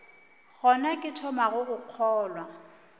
gona ke thomago go kgolwa